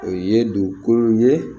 O ye dugukolo ye